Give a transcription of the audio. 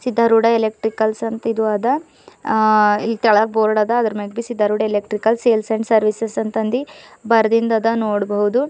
Siddharuda electricals ಅಂತ ಇದು ಅದ ಆ ಈ ತಳಗ್ ಬೋರ್ಡ್ ಅದ ಅದ್ರ ಮೇಗ ಎಲೆಕ್ಟ್ರಿಕಲ್ ಸೇಲ್ಸ್ ಅಂಡ್ ಸರ್ವಿಸಸ್ ಅಂತದಿ ಬರ್ದಿದಂದ್ ನೋಡಬೋದು.